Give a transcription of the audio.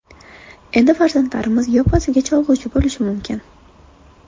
Endi farzandlarimiz yoppasiga cholg‘uchi bo‘lishi mumkin.